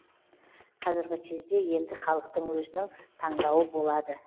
қазіргі кезде енді халықтың өзінің таңдауы болады